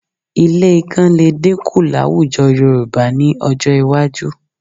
Ilé ikán lè dínkù láwùjọ Yorùbá ní ọjọ́ iwájú